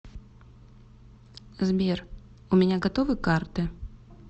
сбер у меня готовы карты